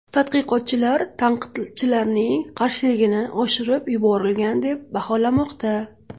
Tadqiqotchilar tanqidchilarning qarshiligini oshirib yuborilgan deb baholamoqda.